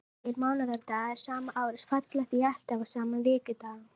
Þessir tveir mánaðardagar sama árs falla því alltaf á sama vikudag.